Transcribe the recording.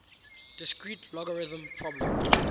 discrete logarithm problem